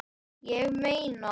Ég meina.